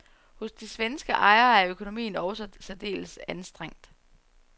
Hos de svenske ejere er økonomien også særdeles anstrengt.